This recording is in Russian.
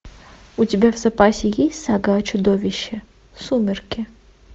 у тебя в запасе есть сага о чудовище сумерки